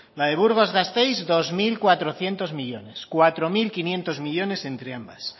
la de burgos gasteiz dos mil cuatrocientos millónes cuatro mil quinientos millónes entre ambas